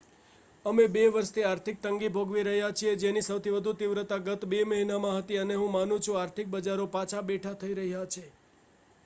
અમે બે વર્ષથી આર્થિક તંગી ભોગવી રહ્યાં છીએ જેની સૌથી વધુ તીવ્રતા ગત બે મહિનામાં હતી અને હું માનું છું કે આર્થિક બજારો પાછા બેઠાં થઈ રહ્યાં છે